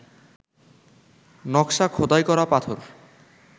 নকশা খোদাই করা পাথর